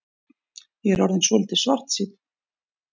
Ég er orðinn svolítið svartsýnn.